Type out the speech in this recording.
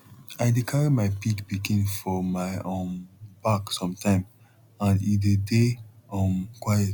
i dey carry my pig pikin for my um back some time and e dey dey um quiet